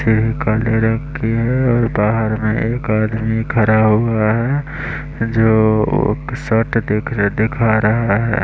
TV का ले रखी है और बाहर में एक आदमी खरा हुआ है जो सर्ट दिख दिखा रहा है।